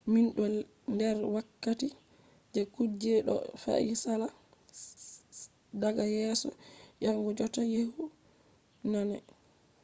min do der wakkati je kujeji do fe’a sala daga yeso yahugo jotta yehugo nane